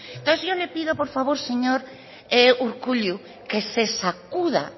entonces yo le pido por favor señor urkullu que se sacuda